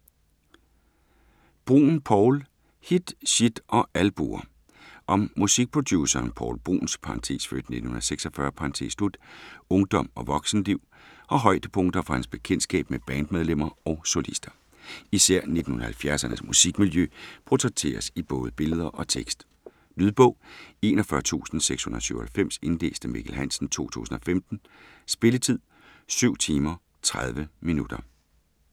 Bruun, Poul: Hit, shit og albuer Om musikproduceren Poul Bruuns (f. 1946) ungdom og voksenliv, og højdepunkter fra hans bekendtskab med bandmedlemmer og solister. Især 1970'ernes musikmiljø portrætteres i både billeder og tekst. Lydbog 41697 Indlæst af Mikkel Hansen, 2015. Spilletid: 7 timer, 30 minutter.